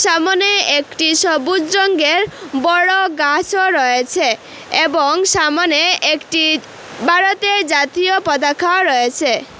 সামনে একটি সবুজ রংগের বড়ো গাছও রয়েছে এবং সামনে একটি ভারতের জাতীয় পতাকাও রয়েসে।